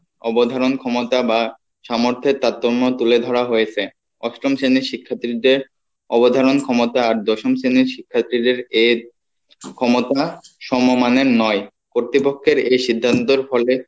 অবধারণ ক্ষমতা বা সামর্থের তারতম্য তুলে ধরা হয়েসে অষ্টম শ্রেণীর শিক্ষার্থীদের অবধারন ক্ষমতা আর দশম শ্রেণীর শিক্ষার্থীদের এ ক্ষমতা সম মানের নয় কর্তৃপক্ষের এই সিদ্ধান্তের ফলে